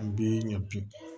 An bɛ ɲɛ bi